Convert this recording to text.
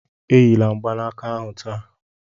Enyila mgbanaka ahu taa